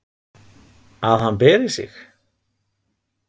að hann beri sig.